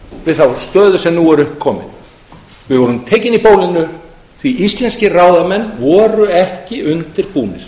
við þá stöðu sem upp er komin við vorum tekin í bólinu því að íslenskir ráðamenn voru ekki undirbúnir